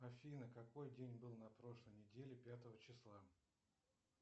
афина какой день был на прошлой неделе пятого числа